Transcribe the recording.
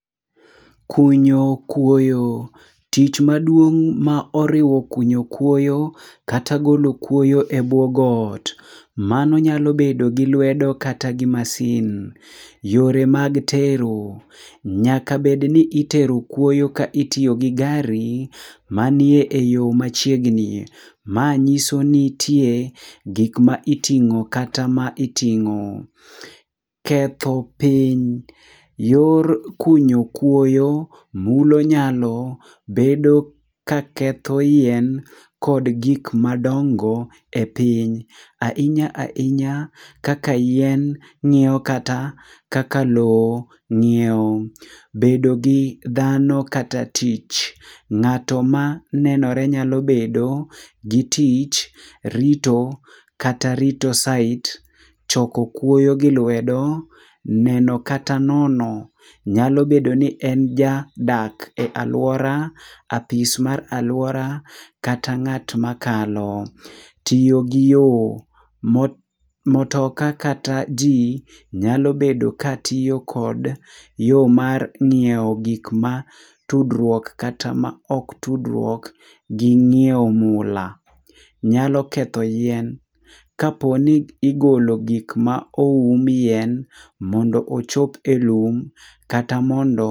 Kunyo kuoyo, tich maduong' ma oriwo kunyo kuoyo kata golo kuoyo e buo got. Mano nyalo bedo gi lwedo kata gi masin. Yore mag tero, nyaka bedni ni etero kuoyo ka itiyogi gi gari manie eyoo machiegni. Ma nyiso ni nitie gik ma iting'o kata iting'o. Ketho piny, yor kunyo kuoyo mulo nyalo bedo ka ketho yien kod gik madongo e piny. Ahinya ahinya kaka yien nyiewo kata kaka lowo nyiewo. Bedo gi dhano kata tich, ng'ato ma nenore nyalo bedo gi tich kata rito site, choko kuoyo gi lwedo, neno kata nono nyalo bedo ni en ja dak e aluora, apis mar aluora kata ng'at makalo. Tiyo gi yoo, mo motoka kata jii nyalo bedo ka tiyo kod yoo mar nyiewo gik ma tudruok kata ma ok tudruok gi nyiewo mula. Nyalo ketho yien kaponi igolo gik ma oum yien mondo ochop e lum kata mondo.